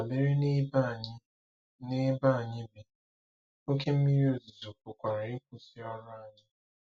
Dabere n'ebe anyị n'ebe anyị bi, oké mmiri ozuzo pụkwara ịkwụsị ọrụ anyị.